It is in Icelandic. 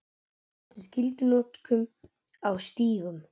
Á móti skyldunotkun á stígum